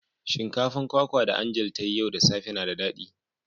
Shinkafan kwakwa da "Angel" ta yi yau da safe na da dadi.